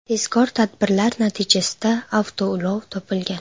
Tezkor tadbirlar natijasida avtoulov topilgan.